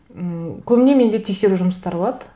м көбіне менде тексеру жұмыстары болады